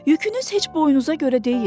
Yükünüz heç boynunuza görə deyil.